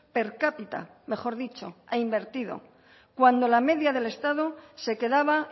per cápita mejor dicho ha invertido cuando la media del estado se quedaba